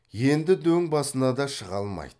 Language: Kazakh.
енді дөң басына да шыға алмайды